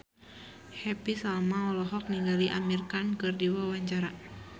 Happy Salma olohok ningali Amir Khan keur diwawancara